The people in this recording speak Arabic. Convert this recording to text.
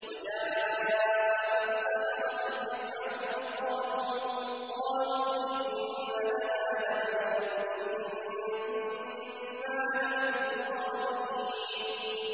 وَجَاءَ السَّحَرَةُ فِرْعَوْنَ قَالُوا إِنَّ لَنَا لَأَجْرًا إِن كُنَّا نَحْنُ الْغَالِبِينَ